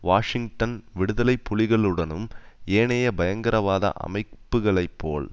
Washington விடுதலை புலிகளுடனும் ஏனைய பயங்கரவாத அமைப்புக்களைப்போல்